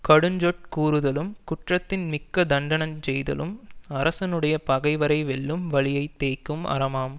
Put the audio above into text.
கடுஞ்சொற் கூறுதலும் குற்றத்தின் மிக்க தண்டஞ் செய்தலும் அரசனுடைய பகைவரை வெல்லும் வலியைத் தேய்க்கும் அரமாம்